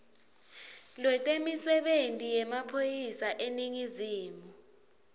lwetemisebenti yemaphoyisa eningizimu